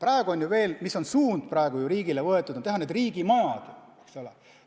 Riigis on ju praegu võetud suund riigimajadele, eks ole.